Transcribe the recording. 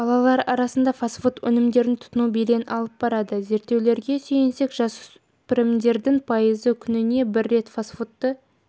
балалар арасында фастфуд өнімдерін тұтыну белең алып барады зерттеулерге сүйенсек жасөспірімдердің пайызы күніне бір рет фастфудты